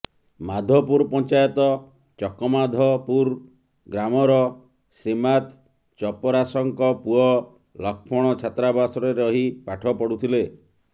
ମାଧପୁର ପଞ୍ଚାୟତ ଚକମାଧପୁର ଗ୍ରାମର ଶ୍ରୀମାତ ଚପରାସଙ୍କ ପୁଅ ଲକ୍ଷ୍ମଣ ଛାତ୍ରାବାସରେ ରହି ପାଠପଢୁଥିଲେ